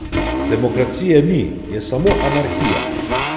Demokracije ni, je samo anarhija.